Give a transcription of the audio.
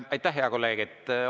Aitäh, hea kolleeg!